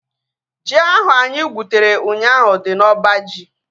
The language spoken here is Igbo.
Ji ahu anyị gwutere ụnyaahụ dị n'oba ji